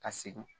Ka segin